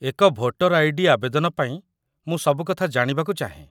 ଏକ voter ID. ଆବେଦନ ପାଇଁ ମୁଁ ସବୁକଥା ଜାଣିବାକୁ ଚାହେଁ